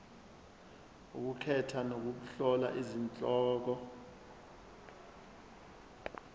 ukukhetha nokuhlola izihloko